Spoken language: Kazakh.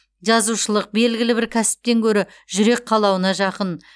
жазушылық белгілібір кәсіптен гөрі жүрек қалауына жақын